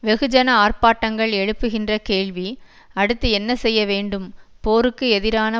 வெகுஜன ஆர்ப்பாட்டங்கள் எழுப்புகின்ற கேள்வி அடுத்து என்ன செய்ய வேண்டும் போருக்கு எதிரான